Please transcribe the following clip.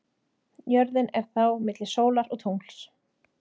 Jörðin er þá milli sólar og tungls.